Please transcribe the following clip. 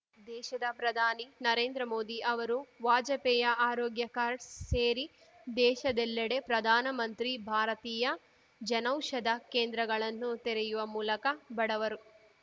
ದೇಶದ ಪ್ರಧಾನಿ ನರೇಂದ್ರಮೋದಿ ಅವರು ವಾಜಪೇಯ ಆರೋಗ್ಯ ಕಾರ್ಡ್ಸ್ ಸೇರಿ ದೇಶದೆಲ್ಲಡೆ ಪ್ರಧಾನ ಮಂತ್ರಿ ಭಾರತೀಯ ಜನೌಷಧ ಕೇಂದ್ರಗಳನ್ನು ತೆರೆಯುವ ಮೂಲಕ ಬಡವರು